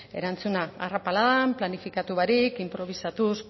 erantzuna arrapaladan planifikatu barik inprobisatuz